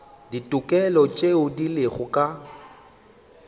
ditokelo tšeo di lego ka